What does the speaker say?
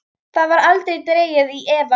Það var aldrei dregið í efa.